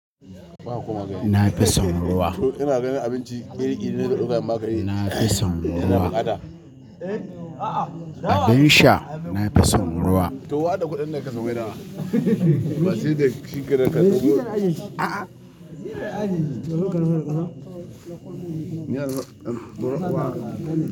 Na fi son ruwa. Na fi son ruwa. Abin sha, na fi son ruwa.